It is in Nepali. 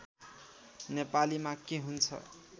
नेपालीमा के हुन्छ